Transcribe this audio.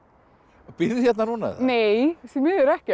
og býrðu hérna núna nei því miður ekki